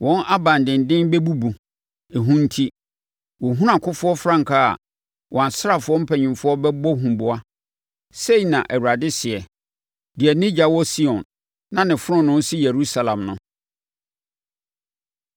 Wɔn aban denden bɛbubu, ehu nti; wɔhunu akofoɔ frankaa a, wɔn asraafoɔ mpanimfoɔ bɛbɔ huboa,” sei na Awurade seɛ, deɛ ne ogya wɔ Sion, na ne fononoo si Yerusalem no.